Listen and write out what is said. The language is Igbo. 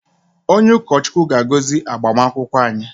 Onye ụkọ Chukwu ga-agozi agbamakwụkwọ anyị.